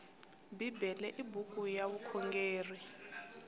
bibele i buku ya vukhongeri